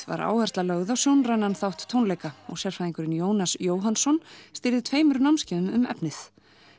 var áhersla lögð á sjónrænan þátt tónleika og sérfræðingurinn Jónas Jóhannsson stýrði tveimur námskeiðum um efnið